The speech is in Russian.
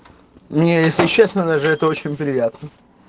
мне если честно даже это очень приятно